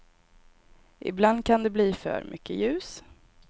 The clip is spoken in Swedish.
Ibland kan det bli för mycket ljus.